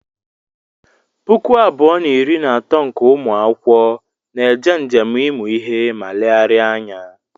Puku abụọ na iri na atọ nke ụmụakwụkwọ na-eje njem ịmụ ihe ma leghari anya.